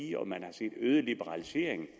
set øget liberalisering